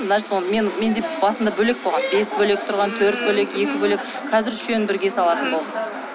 менде басында бөлек болған бес бөлек болған төрт бөлек екі бөлек қазір үшеуін бірге салатын болдым